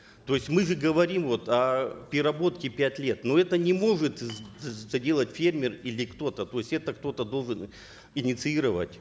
то есть мы же говорим вот о переработке пять лет но это не может сделать фермер или кто то то есть это кто то должен инициировать